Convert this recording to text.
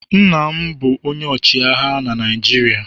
Nna m bụ onye ọchịagha na Naịjirịa.